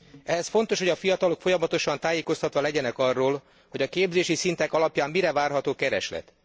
Ehhez fontos, hogy a fiatalok folyamatosan tájékoztatva legyenek arról, hogy a képzési szintek alapján mire várható kereslet.